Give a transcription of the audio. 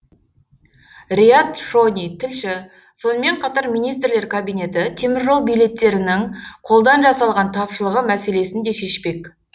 риат шони тілші сонымен қатар министрлер кабинеті теміржол билеттерінің қолдан жасалған тапшылығы мәселесін де шешпек